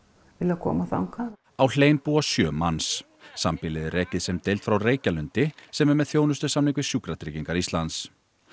koma þangað á hlein búa sjö manns sambýlið er rekið sem deild frá Reykjalundi sem er með þjónustusamning við Sjúkratryggingar Íslands